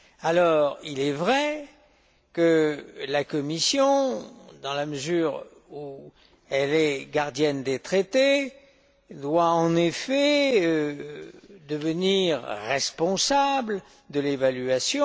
Or, il est vrai que la Commission, dans la mesure où elle est gardienne des Traités, doit en effet devenir responsable de l'évaluation.